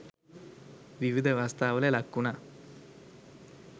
විවිධ අවස්ථාවල ලක්වුණා.